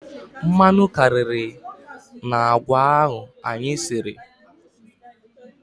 Mmanụ karịrị n'agwa ahụ anyị siri.